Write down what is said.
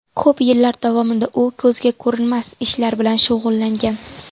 Ko‘p yillar davomida u ko‘zga ko‘rinmas ishlar bilan shug‘ullangan.